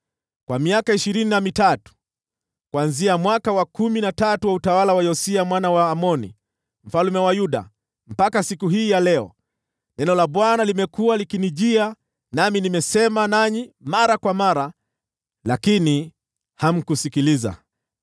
Kwa miaka ishirini na mitatu, kuanzia mwaka wa kumi na tatu wa utawala wa Yosia mwana wa Amoni mfalme wa Yuda, hadi siku hii ya leo, neno la Bwana limekuwa likinijia, nami nimesema nanyi mara kwa mara, lakini hamkusikiliza.